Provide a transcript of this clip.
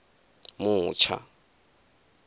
mutsha